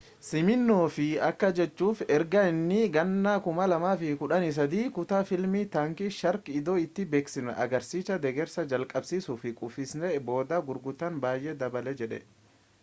siminoof akka jedhutti erga inni 2013 kutaa fiilmii taankii shaark iddoo itti beeksisni agarsiisichaa deggersa jalqabsiisuu kuffise'en booda gurgurtaan baayyee dabale jedhe